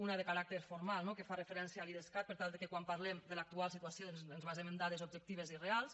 una de caràcter formal no que fa referència a l’idescat per tal de que quan parlem de l’actual situació doncs ens basem en dades objectives i reals